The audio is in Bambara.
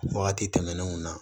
Wagati tɛmɛnenw na